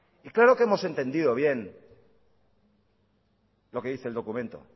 y claro que hemos entendido bien lo que dice el documento